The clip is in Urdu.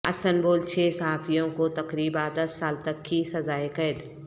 استنبول چھ صحافیوں کو تقریبا دس سال تک کی سزائے قید